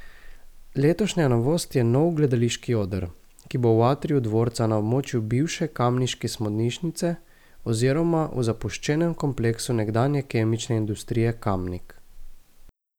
Letošnja novost je nov gledališki oder, ki bo v atriju dvorca na območju bivše kamniške smodnišnice oziroma v zapuščenem kompleksu nekdanje Kemične industrije Kamnik.